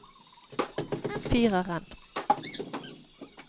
fireren